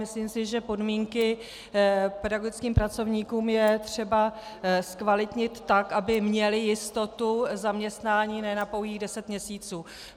Myslím si, že podmínky pedagogickým pracovníkům je třeba zkvalitnit tak, aby měli jistotu zaměstnání ne na pouhých deset měsíců.